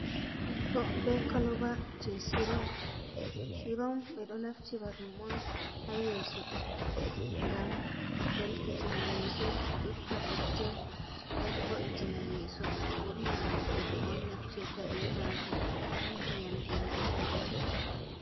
Be koloba je sirom. Sirom ɓe ɗo naftira ɗum on ha yeso ngam ɗelkitina yeso itta putte nden vo ittina yeso. Ɓurna roɓe on nafterfta be majum, ɗon ndiyam ndiyam on ɓe ɗo wuja.